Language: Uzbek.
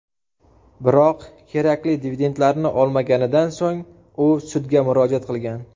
Biroq kerakli dividendlarni olmaganidan so‘ng u sudga murojaat qilgan.